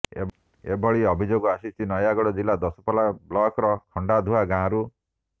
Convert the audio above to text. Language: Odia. ଏଭଳି ଅଭିଯୋଗ ଆସିଛି ନୟାଗଡ଼ ଜିଲ୍ଲା ଦଶପଲା ବ୍ଲକ୍ର ଖଣ୍ଡାଧୁଆ ଗାଁରୁ